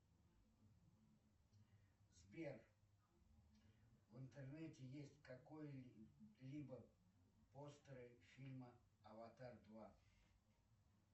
сбер в интернете есть какой либо постер фильма аватар два